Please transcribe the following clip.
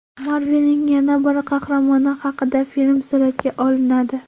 Marvel’ning yana bir qahramoni haqida film suratga olinadi.